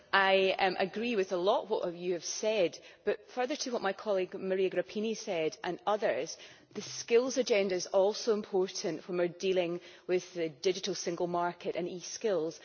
I agree with a lot of what you have said, but further to what my colleague Maria Grapini and others said, the skills agenda is also important when we are dealing with the digital single market and e skills.